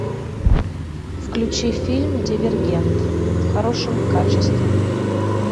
включи фильм дивергент в хорошем качестве